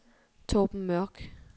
Torben Mørk